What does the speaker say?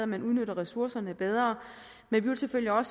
man udnytter ressourcerne bedre men vi vil selvfølgelig under